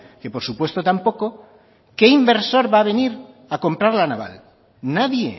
que por supuesto tampoco qué inversor va a venir a comprar la naval nadie